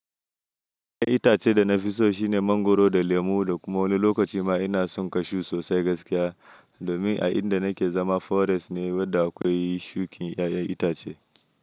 Ai itace da na fi so shine mangwaro da lemu da kuma wani lokaci ma ina son cashu sosai gaskiya. Domin a inda nake zama forest ne wadda akwai shukin 'ya'yan itace.